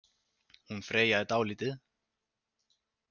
Hún Freyja er dálítið.